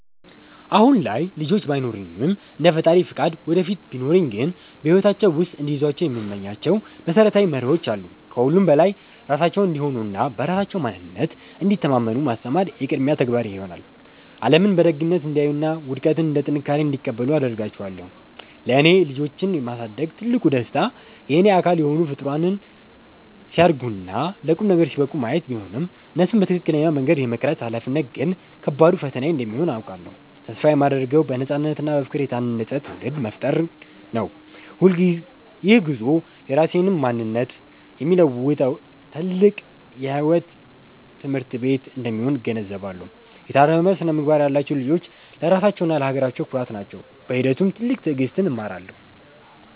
አሁን ላይ ልጆች ባይኖሩኝም፣ እንደ ፈጣሪ ፈቃድ ወደፊት ቢኖሩኝ ግን በሕይወታቸው ውስጥ እንዲይዟቸው የምመኛቸው መሰረታዊ መርሆዎች አሉ። ከሁሉም በላይ ራሳቸውን እንዲሆኑና በራሳቸው ማንነት እንዲተማመኑ ማስተማር የቅድሚያ ተግባሬ ይሆናል። ዓለምን በደግነት እንዲያዩና ውድቀትን እንደ ጥንካሬ እንዲቀበሉ አደርጋቸዋለሁ። ለእኔ ልጆችን የማሳደግ ትልቁ ደስታ የእኔ አካል የሆኑ ፍጡራን ሲያድጉና ለቁም ነገር ሲበቁ ማየት ቢሆንም፣ እነሱን በትክክለኛው መንገድ የመቅረጽ ኃላፊነት ግን ከባዱ ፈተናዬ እንደሚሆን አውቃለሁ። ተስፋ የማደርገው በነፃነትና በፍቅር የታነፀ ትውልድ መፍጠር ነው። ይህ ጉዞ የራሴንም ማንነት የሚለውጥ ታላቅ የሕይወት ትምህርት ቤት እንደሚሆን እገነዘባለሁ። የታረመ ስነ-ምግባር ያላቸው ልጆች ለራሳቸውና ለሀገራቸው ኩራት ናቸው። በሂደቱም ትልቅ ትዕግሥትን እማራለሁ።